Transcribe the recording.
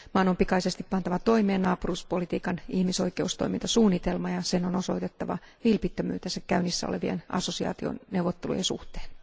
Maan on pikaisesti pantava toimeen naapuruuspolitiikan ihmisoikeustoimintasuunnitelma ja sen on osoitettava vilpittömyytensä käynnissä olevien assosiaationeuvottelujen suhteen.